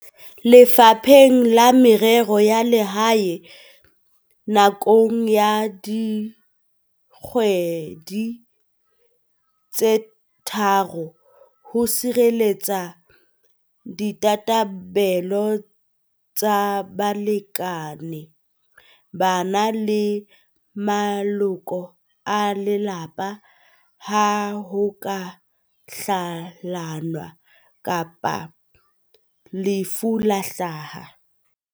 Lefapheng la Merero ya Lehae nakong ya dikgwedi tse tharo ho sirelletsa ditabatabelo tsa balekane, bana le maloko a lelapa ha ho ka hlalanwa kapa lefu la hlaha.